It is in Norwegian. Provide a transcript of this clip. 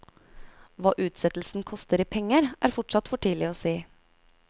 Hva utsettelsen koster i penger, er fortsatt for tidlig å si.